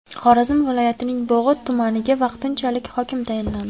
Xorazm viloyatining Bog‘ot tumaniga vaqtinchalik hokim tayinlandi.